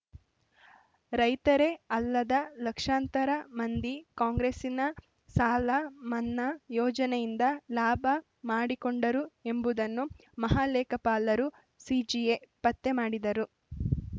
ರೈತರೇ ಅಲ್ಲದ ಲಕ್ಷಾಂತರ ಮಂದಿ ಕಾಂಗ್ರೆಸ್ಸಿನ ಸಾಲ ಮನ್ನಾ ಯೋಜನೆಯಿಂದ ಲಾಭ ಮಾಡಿಕೊಂಡರು ಎಂಬುದನ್ನು ಮಹಾಲೇಖಪಾಲರು ಸಿಎಜಿ ಪತ್ತೆ ಮಾಡಿದ್ದರು